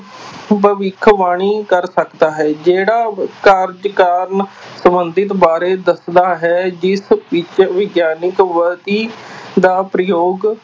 ਭਵਿੱਖਬਾਣੀ ਕਰ ਸਕਦਾ ਹੈ, ਜਿਹੜਾ ਕਾਰਜ ਕਾਰਨ ਸੰਬੰਧਿਤ ਬਾਰੇ ਦੱਸਦਾ ਹੈ ਜਿਸ ਵਿੱਚ ਵਿਗਿਆਨਕ ਵਿੱਧੀ ਦਾ ਪ੍ਰਯੋਗ